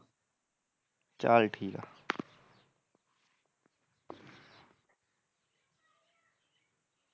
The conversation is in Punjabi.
ਚੱਲ ਠੀਕ ਆ